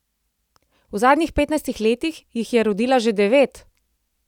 V zadnjih petnajstih letih jih je rodila že devet!